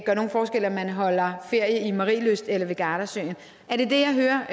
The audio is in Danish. gør nogen forskel om man holder ferie i marielyst eller ved gardasøen er det det jeg hører